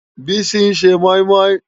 Bisi n sé mòimòi